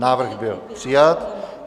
Návrh byl přijat.